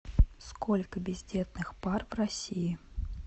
сколько бездетных пар в россии